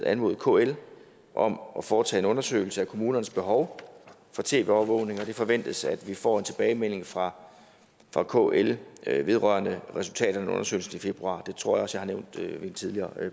anmodet kl om at foretage en undersøgelse af kommunernes behov for tv overvågning og det forventes at vi får en tilbagemelding fra fra kl vedrørende resultaterne af den undersøgelse til februar det tror jeg også jeg har nævnt ved en tidligere